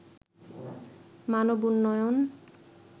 মানব উন্নয়ন